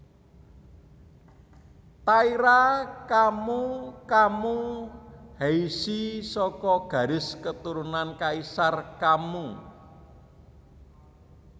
Taira Kammu Kammu Heishi saka garis keturunan Kaisar Kammu